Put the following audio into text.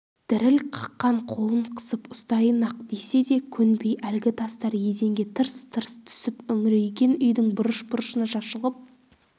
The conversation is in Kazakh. діріл қаққан қолын қысып ұстайын-ақ десе де көнбей әлгі тастар еденге тырс тырс түсіп үңірейген үйдің бұрыш-бұрышына шашылып